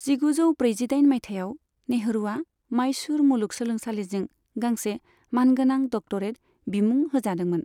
जिगुजौ ब्रैजिदाइन माइथायाव, नेहरूआ माइसूर मुलुग सोलोंसालिजों गांसे मान गोनां डक्टरेट बिमुं होजादोंमोन।